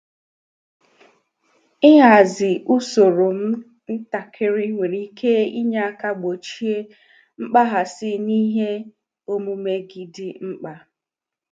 Ịhazigharị usoro m ntakịrị nwere ike inye aka gbochie mkpaghasị n'ihe omume gị dị mkpa.